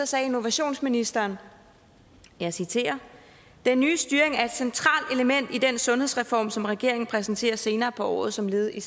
sagde innovationsministeren og jeg citerer den nye styring er et centralt element i den sundhedsreform som regeringen præsenterer senere på året som et led i